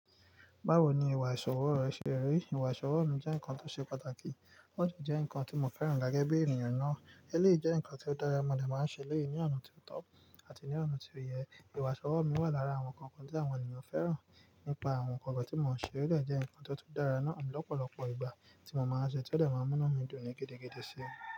Báwo ni ìwà ìṣòwo ẹ ṣe rí? Ìwà ìṣòwo mi jẹ́ nǹkan tó ṣe pàtàkì. Ó de jẹ́ nǹkan tí mo fẹ́ràn gẹ́gẹ́ bí ènìyàn ná. Eléyìí jẹ́ nǹkan tí ó dára, mo dè máa n ṣe eleyii ní ọ̀nà tó tọ́ àti ní ọ̀nà tí ó yẹ. Ìwà ìṣòwo mi wà lára àwọn nǹkan kan tí àwọn ènìyàn fẹ́ràn. Ni pa àwọn nǹkan kan tí mò ń ṣe, ó de jẹ́ nǹkan tó tun dára náà lọ́pọ̀lọpọ̀ ìgbà tí mo máa ń ṣe é to de màá n múnú mi dùn ní gidi gidigidi sí i.